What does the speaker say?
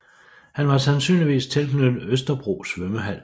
Han var sandsynligvis tilknyttet Østerbro Svømmehal